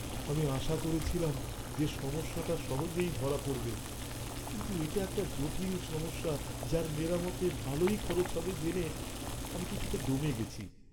আমি আশা করেছিলাম যে সমস্যাটা সহজেই ধরা পড়বে, কিন্তু এট একটা জটিল সমস্যা যার মেরামতে ভালোই খরচ হবে জেনে আমি কিছুটা দমে গেছি।